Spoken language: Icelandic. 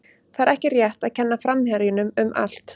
Það er ekki rétt að kenna framherjunum um allt.